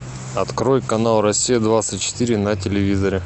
открой канал россия двадцать четыре на телевизоре